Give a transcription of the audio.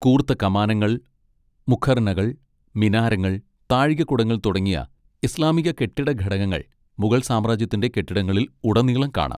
കൂർത്ത കമാനങ്ങൾ, മുഖർനകൾ, മിനാരങ്ങൾ, താഴികക്കുടങ്ങൾ തുടങ്ങിയ ഇസ്ലാമിക കെട്ടിട ഘടകങ്ങൾ മുഗൾ സാമ്രാജ്യത്തിന്റെ കെട്ടിടങ്ങളിൽ ഉടനീളം കാണാം.